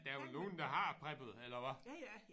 Der er vel nogen der preppet eller hvad?